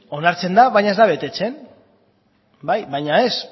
onartzen da baina ez da betetzen bai baina ez